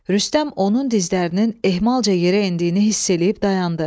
Rüstəm onun dizlərinin ehmalca yerə endiyini hiss eləyib dayandı.